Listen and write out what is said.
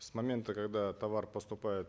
с момента когда товар поступает